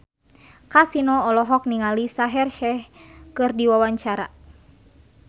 Kasino olohok ningali Shaheer Sheikh keur diwawancara